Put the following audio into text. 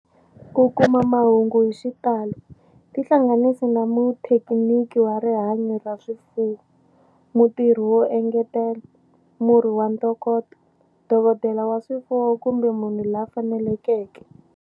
Ku kuma mahungu hi xitalo, tihlanganisi na muthekiniki wa rihanyo ra swifuwo, mutirhi wo engetela, murhi wa ntokoto, dokodela wa swifuwo kumbe munhu la fanelekeke.